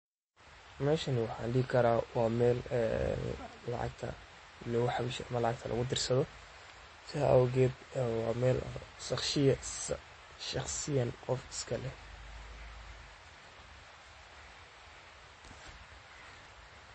waa adeeg lacag-bixin oo casri ah oo ay bixiso shirkadda Safaricom ee Kenya, kaas oo u oggolaanaya macaamiisha inay si fudud oo ammaan ah uga bixiyaan lacagaha adeegyada kala duwan iyagoo adeegsanaya taleefankooda gacanta. Adeeggan wuxuu fududeeyaa habka lacag bixinta ganacsiyada yaryar iyo kuwa waaweynba, waxaana loo isticmaalaa in lagu bixiyo lacagaha biilka.